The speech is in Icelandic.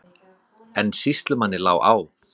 En sýslumanni lá á.